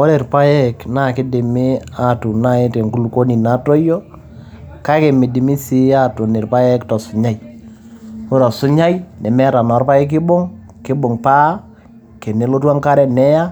ore irpayek naa kidimi atuun naji tenkulupuoni natoyio kake midimi sii aatun irpayek tosunyai ore osunyai nemeeta naa orpayeki oibung kibung paa tenelotu enkare neya